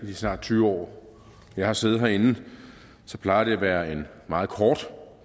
de snart tyve år jeg har siddet herinde plejer det at være en meget kort